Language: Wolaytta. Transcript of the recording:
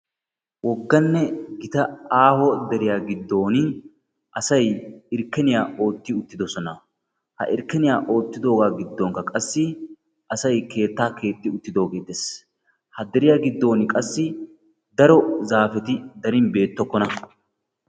Wogganne gita aaho deriya giddon asay irkkeniyaa ootti uttidoosona. Ha irkkeniya oottidooga giddonkka qassi asay keettaa keexi uttidooge dees. Ha deriya giddon qassi daro zaafeti darin beettokkona.